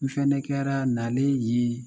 N fana kɛra nalen ye